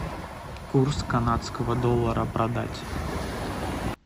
курс канадского доллара продать